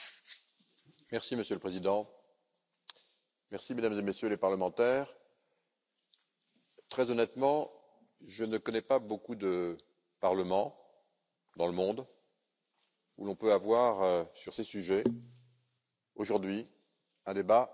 Monsieur le Président, Mesdames et Messieurs les parlementaires, très honnêtement, je ne connais pas beaucoup de parlements dans le monde où l'on peut avoir sur ces sujets, aujourd'hui, un débat de cette qualité.